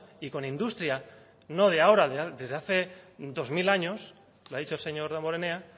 y con industria no de ahora desde hace dos mil años lo ha dicho el señor damborenea